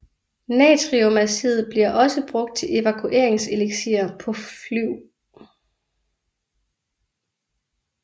Natriumazid bliver også brugt til evakueringsslisker på flyv